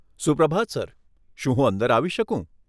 સુપ્રભાત sir, શું હું અંદર આવી શકું?